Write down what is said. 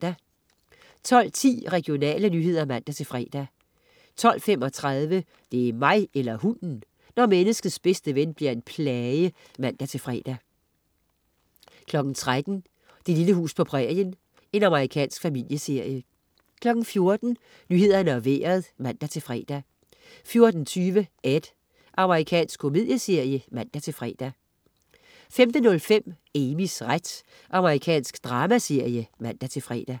12.10 Regionale nyheder (man-fre) 12.35 Det er mig eller hunden! når menneskets bedste ven bliver en plage (man-fre) 13.00 Det lille hus på prærien. Amerikansk familieserie 14.00 Nyhederne og Vejret (man-fre) 14.20 Ed. Amerikansk komedieserie (man-fre) 15.05 Amys ret. Amerikansk dramaserie (man-fre)